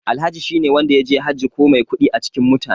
Alhaji shine wanda yaje Hajji ko mai kuɗi a cikin mutane.